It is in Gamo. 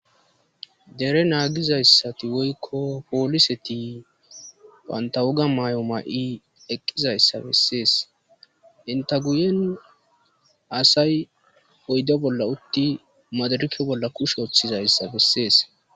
Dere naagizayssati woykko pooliseti pantawoga may'o ma'i eqqizayssa bessees enta guyen asay oyda bolla utti madarike bolla kushe ooththizayssa bessees.